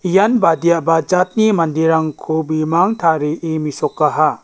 ian badiaba jatni manderangko bimang tarie mesokaha.